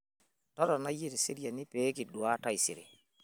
Totona iyie teseriani pee kidua taisere.